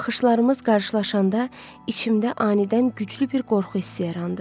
Baxışlarımız qarşılaşanda içimdə anidən güclü bir qorxu hissi yarandı.